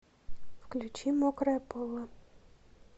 включи мокрое поло